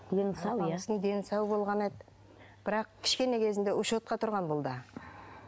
дені сау иә сау болған еді бірақ кішкене кезде учетқа тұрған бұл да